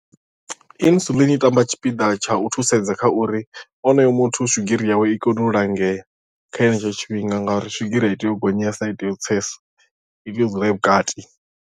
Insulin i tamba tshipiḓa tsha u thusedza kha uri onoyo muthu swigiri yawe i kone u langea kha henetsho tshifhinga nga uri swigiri a i tei u gonyesa ai tei u tsesa i tea u dzula i vhukati.